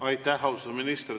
Aitäh, austatud minister!